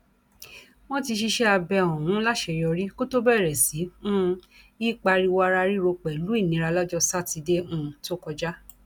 wọn ti ṣiṣẹ abẹ ọhún láṣeyọrí kó tóó bẹrẹ sí um í pariwo ara ríro pẹlú ìnira lọjọ sátidé um tó kọjá